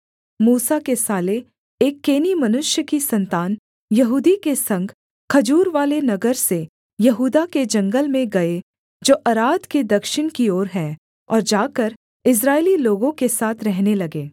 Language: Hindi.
मूसा के साले एक केनी मनुष्य की सन्तान यहूदी के संग खजूरवाले नगर से यहूदा के जंगल में गए जो अराद के दक्षिण की ओर है और जाकर इस्राएली लोगों के साथ रहने लगे